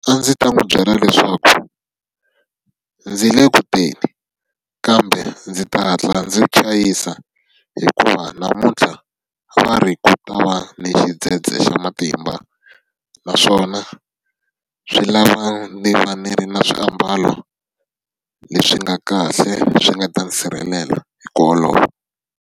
A ndzi ta n'wi byela leswaku ndzi le ku teni. Kambe ndzi ta hatla ndzi chayisa hikuva, namuntlha va ri ku ta va ni xidzhedzhe xa matimba. Naswona swi lava ni va ni ri na swiambalo leswi nga kahle, swi nga ta ni sirhelela hi ku olova.